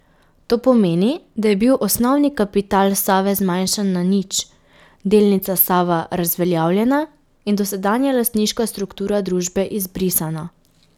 To pomeni, da je bil osnovni kapital Save zmanjšan na nič, delnica Sava razveljavljena in dosedanja lastniška struktura družbe izbrisana.